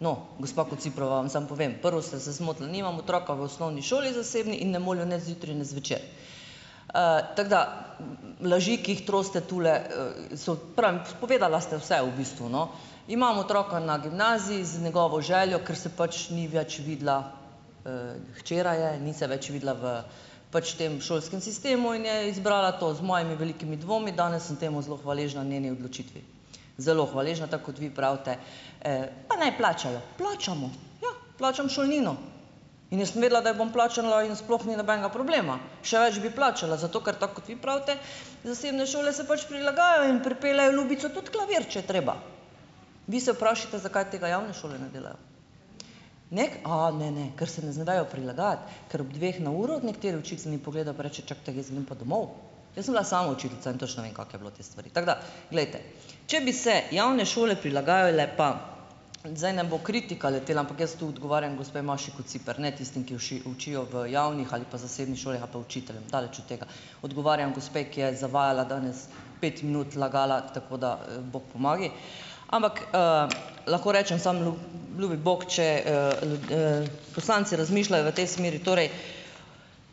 no, gospa Kociprova, vam samo povem, prvo ste se zmotili: nimam otroka v osnovni šoli zasebni in ne molijo ne zjutraj ne zvečer, tako da laži, ki jih trosite tule, so prnk, povedala ste vse v bistvu, no, imam otroka na gimnaziji z njegovo željo, ker se pač ni več videla, hčera je, ni se več videla v pač tem šolskem sistemu in je izbrala to z mojimi velikimi dvomi, danes sem temu zelo hvaležna njeni odločitvi, zelo hvaležna, tako kot vi pravite, pa naj plačajo, plačamo, ja, plačam šolnino, in jaz sem vedela, da jo bom plačala, in sploh ni nobenega problema, še več bi plačala, zato ker, tako kot vi pravite, zasebne šole se pač prilagajajo in pripeljejo, ljubica, tudi klavir, če je treba, vi se vprašajte, zakaj tega javne šole ne delajo neki, a ne, ne, ker se ne vejo prilagajati, ker ob dveh na uro nekateri učitelji pogleda pa reče: "Čakajte, jaz grem pa domov." Jaz sem bila sama učiteljica in točno vem, kako je bilo, te stvari, tako da glejte, če bi se javne šole prilagajale, pa zdaj nam bo kritika letela, ampak jaz tu odgovarjam gospe Maši Kociper, ne tistim, ki učijo v javnih ali pa zasebnih šolah, ali pa učiteljem, daleč od tega, odgovarjam gospe, ki je zavajala danes, pet minut lagala, tako da bog pomagaj, ampak lahko rečem samo ljubi bog, če poslanci razmišljajo v tej smeri,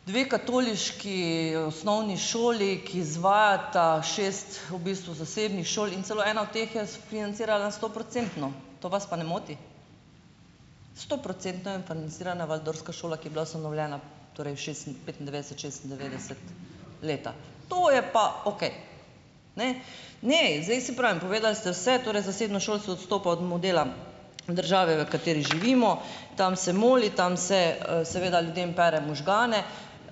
torej dve katoliški osnovni šoli, ki izvajata, šest v bistvu zasebnih šol, in celo ena od teh je sfinancirala stoprocentno, to vas pa ne moti, stoprocentno je financirana waldorfska šola, ki je bila ustanovljena torej petindevetdeset, šestindevetdeset leta, to je pa okej, ne, ne, in zdaj, saj pravim, povedala ste vse, torej zasebno šolstvo odstopa od modela države, v kateri živimo, tam se moli, tam se seveda ljudem pere možgane,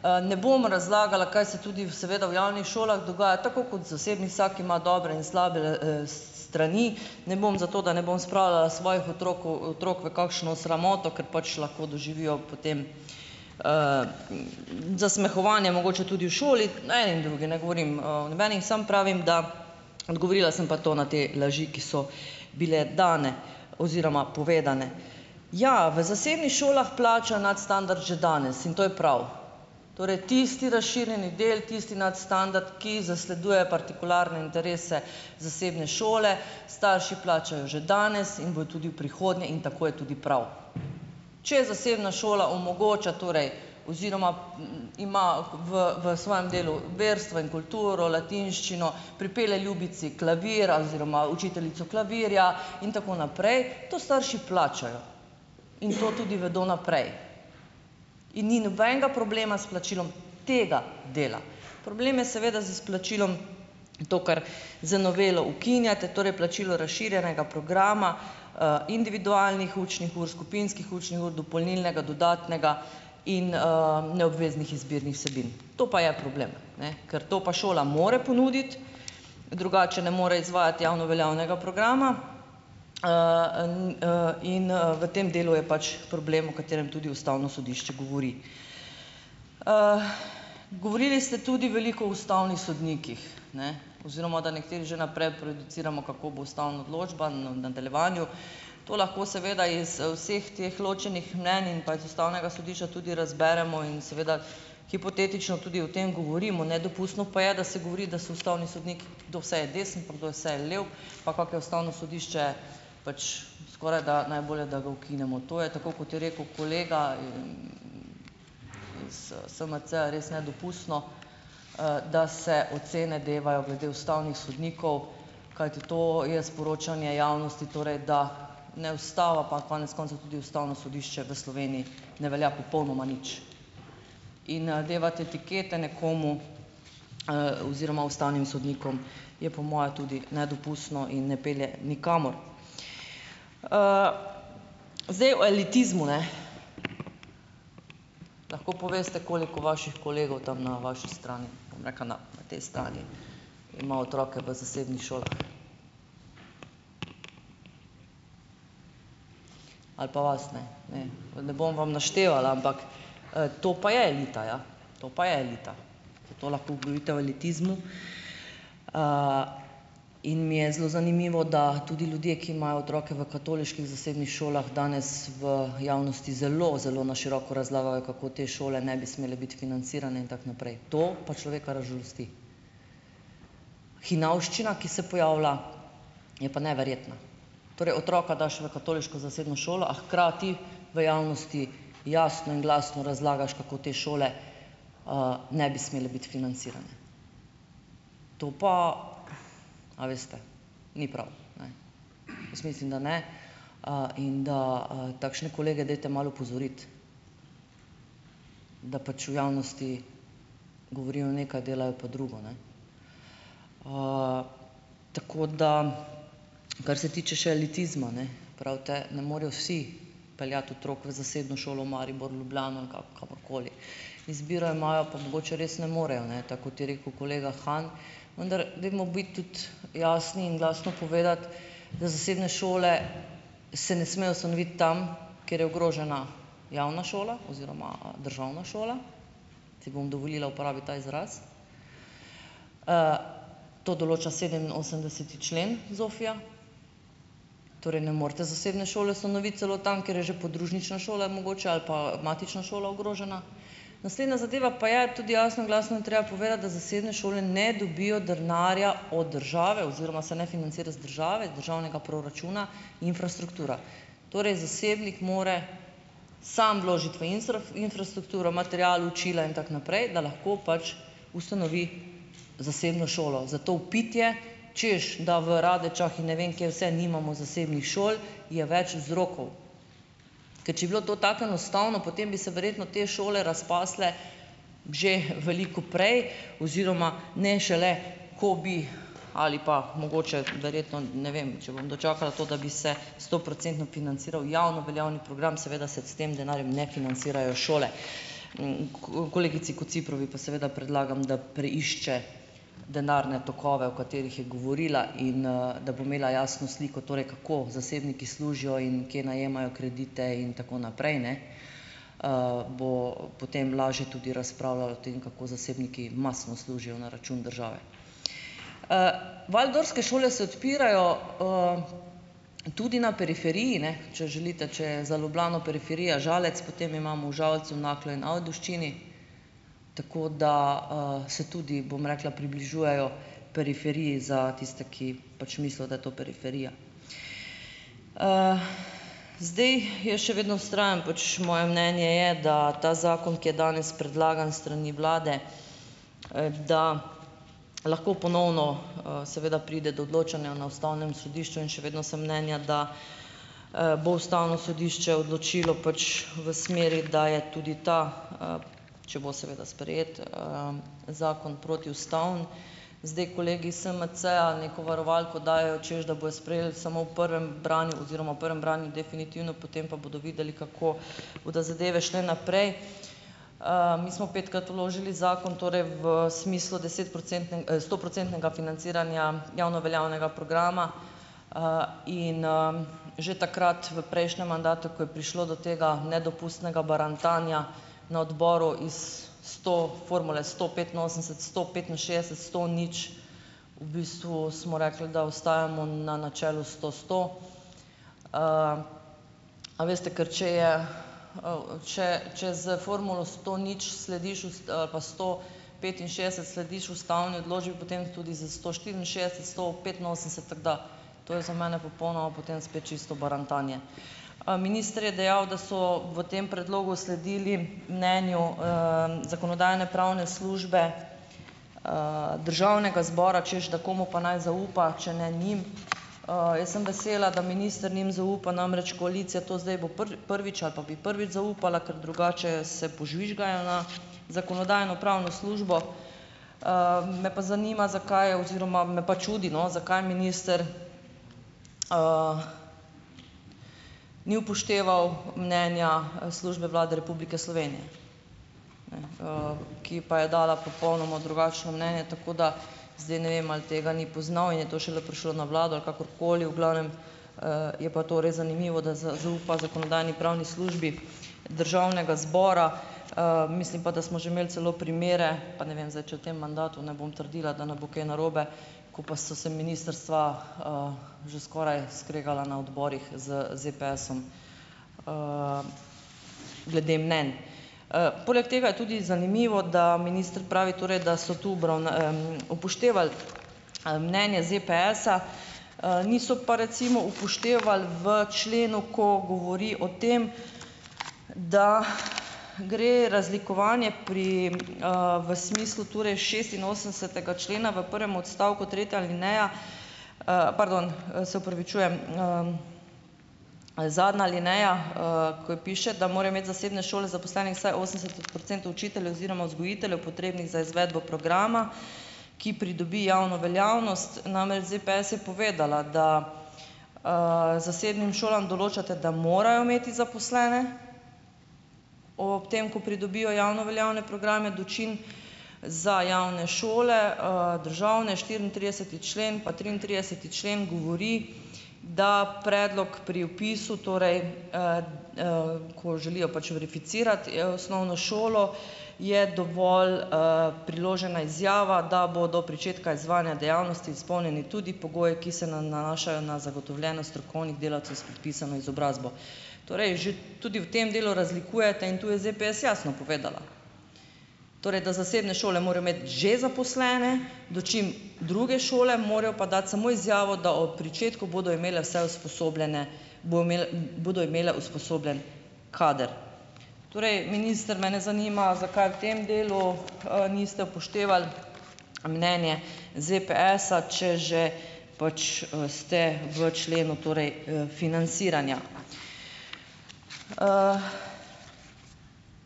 ne bom razlagala, kaj se tudi seveda v javnih šolah dogaja, tako kot v zasebni, vsak ima dobre in slabe strani, ne bom, zato da ne bom spravljala svojih otrok, v otrok v kakšno sramoto, kar pač lahko doživijo potem zasmehovanje mogoče tudi v šoli, na eni in drugi, ne govorim o nobeni, samo pravim, da odgovorila sem pa to na te laži, ki so bile dni oziroma povedane. Ja, v zasebnih šolah plača nadstandard že danes in to je prav torej tisti razširjeni del, tisti nadstandard, ki zasleduje partikularne interese zasebne šole, starši plačajo že danes in bojo tudi v prihodnje, in tako je tudi prav, če zasebna šola omogoča torej oziroma ima v v svojem delu verstvo in kulturo, latinščino, pripelje ljubici klavir oziroma učiteljico klavirja in tako naprej, to starši plačajo in to tudi vedo naprej in ni nobenega problema s plačilom tega dela, problem je seveda z izplačilom, to, kar z novelo ukinjate, torej plačilo razširjenega programa individualnih učnih ur skupinskih učnih ur dopolnilnega dodatnega in neobveznih izbirnih vsebin, to pa je problem, ne, ker to pa šola more ponuditi, drugače ne more izvajati javno veljavnega programa in v tem delu je pač problem, o katerem tudi ustavno sodišče govori, govorili ste tudi veliko o ustavnih sodnikih, ne, oziroma da nekateri že naprej produciramo, kako bo ustavna odločba na nadaljevanju, to lahko seveda iz vseh teh ločenih mnenj in pa iz ustavnega sodišča tudi razberemo in seveda hipotetično tudi o tem govorimo, nedopustno pa je, da se govori, da so ustavni sodniki, kdo vse je desen pa kdo vse je lev, pol pa, ko ustavno sodišče pač, skorajda najbolje, da ga ukinemo, to je tako, kot je rekel kolega. SMC, je res nedopustno, da se ocene devajo glede ustavnih sodnikov, kajti to je sporočanje javnosti, torej da ne ustava pa konec koncev tudi ustavno sodišče v Sloveniji ne velja popolnoma nič in devati etikete nekomu oziroma ustavnim sodnikom je po moje tudi nedopustno in ne pelje nikamor. Zdaj o elitizmu, ne, lahko poveste, koliko vaših kolegov tam na vaši strani neka na te strani ima otroke v zasebnih šolah, ali pa vas, ne, ne, ne bom vam naštevala, ampak to pa je elita, ja, to pa je elita, vi to lahko govorite o elitizmu in mi je zelo zanimivo, da tudi ljudje, ki imajo otroke v katoliških zasebnih šolah, danes v javnosti zelo zelo na široko razlagajo, kako te šole ne bi smele biti financirane in tako naprej; to pa človeka razžalosti. Hinavščina, ki se pojavlja, je pa neverjetna, torej otroka daš v katoliško zasebno šolo, a hkrati v javnosti jasno in glasno razlagaš, kako te šole ne bi smele biti financirane. To pa, a veste, ni prav, ne, jaz mislim, da ne in da takšne kolege dajte malo opozoriti, da pač v javnosti govorijo nekaj delajo pa drugo, ne, tako da, kar se tiče še elitizma, ne, pravite: "Ne morejo vsi peljati otrok v zasebno šolo v Maribor Ljubljano ali kamorkoli." Izbiro imajo pa mogoče res ne morejo, ne, tako kot je rekel kolega Han, vendar dajmo biti tudi jasni in glasno povedati, da zasebne šole se ne smejo ustanoviti tam, ker je ogrožena javna šola oziroma državna šola, si bom dovolili uporabiti ta izraz, to določa sedeminosemdeseti člen Zofija, torej ne morete zasebne šole ustanoviti celo tam, kjer je že podružnična šola mogoče ali pa matična šola ogrožena, naslednja zadeva pa je tudi: jasno in glasno je treba povedati, da zasebne šole ne dobijo denarja od države oziroma se ne financira z države, z državnega proračuna infrastruktura, torej zasebnik mora samo vložiti v infrastrukturo, material, učila in tako naprej, da lahko pač ustanovi zasebno šolo, zato vpitje, češ da v Radečah in ne vem kje vse nimamo zasebnih šol, je več vzrokov, ker če bi bilo to tako enostavno, potem bi se verjetno te šole razpasle že veliko prej oziroma ne šele, ko bi ali pa mogoče, verjetno, ne vem, če bom dočakala to, da bi se stoprocentno financiral javno veljavni program, seveda se s tem denarjem ne financirajo šole, kolegici Kociprovi pa seveda predlagam, da preišče denarne tokove, o katerih je govorila, in da bo imela jasno sliko torej, kako zasebniki služijo in kje najemajo kredite in tako naprej, ne, bo potem lažje tudi razpravljala o tem, kako zasebniki mastno služijo na račun države, waldorske šole se odpirajo tudi na periferiji, ne, če želite, če je za Ljubljano periferija Žalec, potem imamo v Žalcu naklen Ajdovščini, tako da se tudi, bom rekla, približujejo periferiji za tiste, ki pač mislijo, da je to periferija. Zdaj, jaz še vedno vztrajam, pač moje mnenje je, da ta zakon, ki je danes predlagan strani vlade, da lahko ponovno seveda pride do odločanja na ustavnem sodišču in še vedno sem mnenja, da bo ustavno sodišče odločilo pač v smeri, da je tudi ta, če bo seveda sprejet, zakon protiustaven, zdaj kolegi SMC-ja neko varovalko dajejo čez, da bojo sprejeli samo v prvem branju oziroma v prvem branju definitivno, potem pa bodo videli, kako bodo zadeve šle naprej, mi smo petkrat vložili zakon, torej v smislu desetprocentne, stoprocentnega financiranja javno veljavnega programa, in že takrat v prejšnjem mandatu, ko je prišlo do tega nedopustnega barantanja na odboru iz sto formule sto petinosemdeset sto petinšestdeset sto nič, v bistvu smo rekli, da ostajamo na načelu sto sto, a veste, ker če je, če, če s formulo sto nič slediš pa sto petinšestdeset slediš ustavni odločbi, potem tudi s sto štiriinšestdeset sto petinosemdeset, tako da to je za mene popolnoma potem spet čisto barantanje, minister je dejal, da so v tem predlogu sledili mnenju zakonodajno-pravne službe državnega zbora, češ da komu pa naj zaupa, če ne njim, jaz sem vesela, da minister njim zaupa, namreč koalicija to, zdaj bo prvič ali pa bi prvič zaupala, ker drugače se požvižgajo na zakonodajno-pravno službo, me pa zanima, zakaj je oziroma me pa čudi, no, zakaj minister ni upošteval mnenja službe Vlade Republike Slovenije, in ki pa je dala popolnoma drugačno mnenje, tako da zdaj ne vem, ali tega ni poznal in je to šele prišlo na vlado, ali kakorkoli, v glavnem je pa torej zanimivo, da zaupa zakonodajno-pravni službi državnega zbora, mislim pa, da smo že imeli celo primere, pa ne vem zdaj, če v tem mandatu, ne bom trdila, da ne bo kaj narobe, ko pa so z ministrstva že skoraj kregala na odborih z ZPS-om glede mnenj, poleg tega je tudi zanimivo, da minister pravi, torej, da so tu upoštevali mnenje ZPS-a, niso pa recimo upoštevali v členu, ko govori o tem, da gre razlikovanje pri, v smislu torej šestinosemdesetega člena v prvem odstavku tretja alineja, pardon, se opravičujem, zadnja alineja, ko je piše, da morajo imeti zasebne šole zaposlenih vsaj osemdeset procentov učiteljev oziroma vzgojiteljev, potrebnih za izvedbo programa, ki pridobi javno veljavnost, namreč ZPS je povedala, da zasebnim šolam določate, da morajo imeti zaposlene o ob tem, ko pridobijo javno veljavne programe, dočim za javne šole, državne štiriintrideseti člen pa triintrideseti člen govori, da predlog pri vpisu, torej ko želijo pač verificirati, je osnovno šolo je dovolj priložena izjava, da bo do pričetka izvajanja dejavnosti izpolnjeni tudi pogoji, ki se na nanašajo na zagotovljenost strokovnih delavcev s podpisano izobrazbo, torej že tudi v tem delu razlikujete, in tu je ZPS jasno povedala, torej da zasebne šole morajo imeti že zaposlene, dočim druge šole morajo pa dati samo izjavo, da ob pričetku bodo imele vse usposobljene, bolj imele, bodo imele usposobljen kader, torej minister mene zanima, zakaj v tem delu niste upoštevali mnenje ZPS-a, če že pač ste v členu torej financiranja,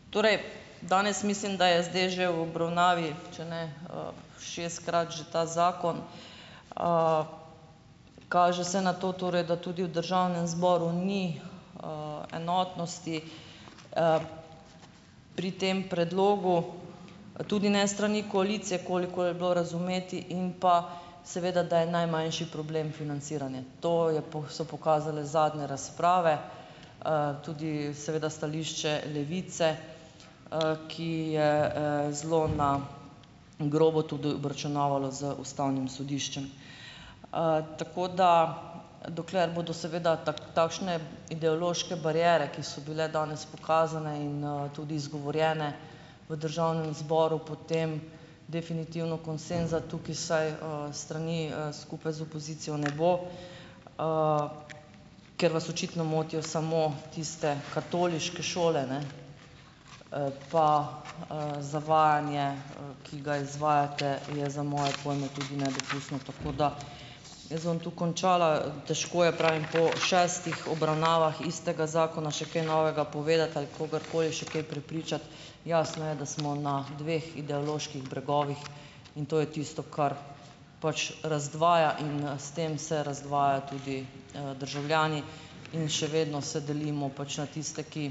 torej danes mislim, da je zdaj že v obravnavi, če ne šestkrat že ta zakon, kaže se na to torej, da v državnem zboru ni enotnosti pri tem predlogu tudi ne strani koalicije, koliko je bilo razumeti, in pa seveda, da je najmanjši problem financiranje, to je so pokazale zadnje razprave, tudi seveda stališče Levice, ki je zelo na grobo tudi obračunavala z ustavnim sodiščem, tako da dokler bodo seveda tako takšne ideološke bariere, ki so bile danes pokazane in tudi izgovorjene v državnem zboru, potem definitivno konsenza tukaj vsaj strani skupaj z opozicijo ne bo, ker vas očitno motijo samo tiste katoliške šole, ne, pa zavajanje, ki ga izvajate, je za moje pojme tudi nedopustno, tako da jaz bom tu končala, težko je, pravim, po šestih obravnavah istega zakona še kaj novega povedati ali kogarkoli še kaj prepričati, jasno je, da smo na dveh ideoloških bregovih, in to je tisto, kar pač razdvaja, in s tem se razdvaja tudi državljani in še vedno se delimo pač na tiste, ki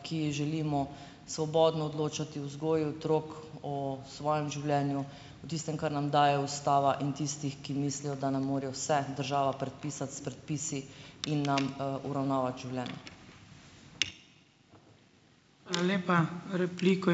ki želimo svobodno odločati o vzgoji otrok, o svojem življenju, o tistem, kar nam daje ustava, in tistih, ki mislijo, da ne morejo vse država predpisati s predpisi in nam uravnavati življenje.